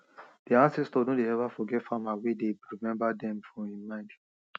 de ancestors no de ever forget farmer wey dey remember dem for im mind